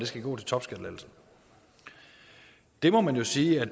skal gå til topskattelettelser det må man jo sige at